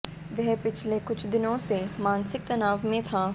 वह पिछले कुछ दिनों से मानसिक तनाव में था